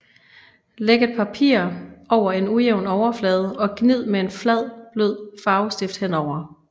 Læg et papir over en ujævn overflade og gnid med en flad blød farvestift henover